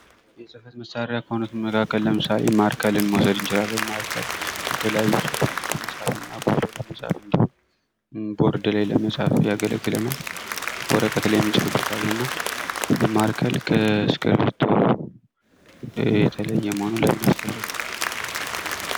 ከእነዚህ መሰረታዊ ነገሮች በተጨማሪ እንደ ስቴፕለር፣ ቀዳዳ መውጊያ፣ ክሊፖችና ፋይሎች ያሉ ተጨማሪ እቃዎች አሉ።